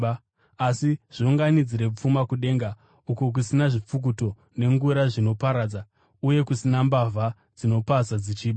Asi zviunganidzirei pfuma kudenga uko kusina zvipfukuto nengura zvinoparadza, uye kusina mbavha dzinopaza dzichiba.